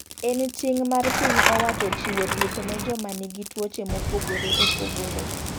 En ting' mar piny owacho chiwo thieth ne joma ni gi tuoche mopogore opogore.